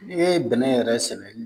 N'i ye bɛnɛ yɛrɛ sɛ